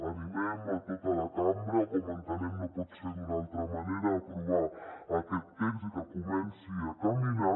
animem a tota la cambra no pot ser d’una altra manera a aprovar aquest text i que comenci a caminar